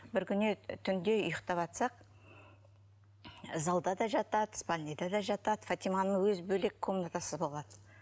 бір күні түнде ұйықтаватсақ залда да жатады спальныйда да жатады фатиманың өз бөлек комнатасы болады